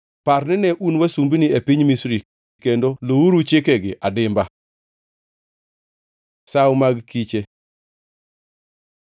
Par nine un wasumbini e piny Misri kendo luwuru chikegi adimba. Sawo mag kiche